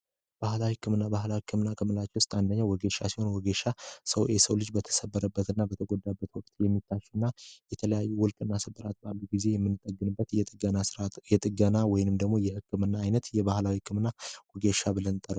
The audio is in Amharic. ባህላዊ ህክምና ባህላዊ ህክምና ምንላቸው ውስጥ አንደኛው ሲሆን ሲሆን የሰው ልጅ በተሰበረበት እና በተጎዳበት ወቅት የሚታከምበት የጥገና ህክምና ነው። ይህንንም የባህል ህክምና ጥገና ብለን እንጠራዋለን።